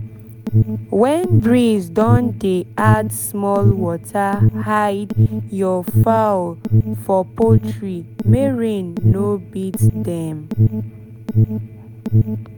when breeze don dey add small water hide your fowl fowl for poultry make rain no beat them